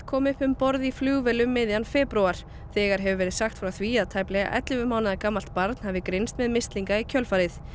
kom upp um borð í flugvél um miðjan febrúar þegar hefur verið sagt frá því að tæplega ellefu mánaða gamalt barn hafi greinst með mislinga í kjölfarið